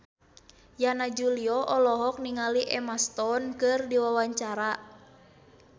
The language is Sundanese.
Yana Julio olohok ningali Emma Stone keur diwawancara